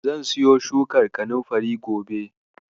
Zan siyo shukar kanunfari gobe